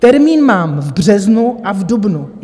Termín mám v březnu a v dubnu.